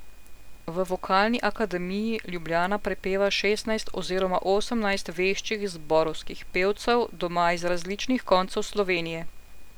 V Vokalni akademiji Ljubljana prepeva šestnajst oziroma osemnajst veščih zborovskih pevcev, doma iz različnih koncev Slovenije.